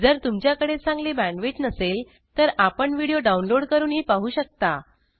जर तुमच्याकडे चांगली बॅण्डविड्थ नसेल तर आपण व्हिडिओ डाउनलोड करूनही पाहू शकता